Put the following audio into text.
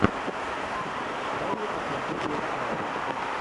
дай мне посмотреть мелодраму